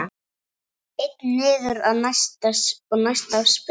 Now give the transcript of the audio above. Einn niður og næsta spil.